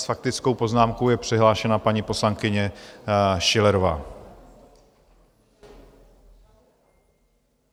S faktickou poznámkou je přihlášena paní poslankyně Schillerová.